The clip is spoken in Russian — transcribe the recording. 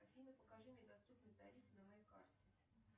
афина покажи мне доступный тариф на моей карте